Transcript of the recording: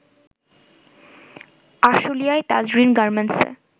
আশুলিয়ায় তাজরীন গার্মেন্টসে